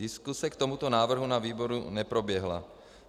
Diskuse k tomuto návrhu na výboru neproběhla.